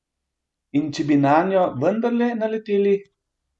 In če bi nanjo vendarle naleteli?